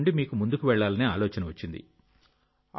దాని నుండి మీకు ముందుకు వెళ్లాలనే ఆలోచన వచ్చింది